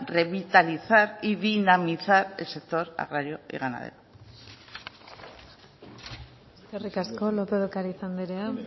revitalizar y dinamizar el sector agrario y ganadero eskerrik asko lópez de ocariz andrea